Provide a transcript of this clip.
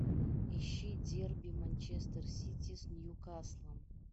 ищи дерби манчестер сити с ньюкаслом